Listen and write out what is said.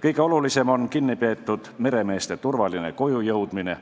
Kõige olulisem on kinnipeetud meremeeste turvaline kojujõudmine